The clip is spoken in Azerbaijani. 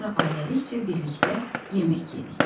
Sonra ailəlikcə birlikdə yemək yedik.